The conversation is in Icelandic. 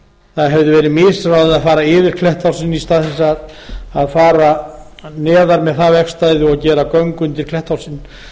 það hefði verið misráðið að fara yfir klettshálsinn í stað þess að fara neðar með það vegstæði og gera göng undir klettshálsinn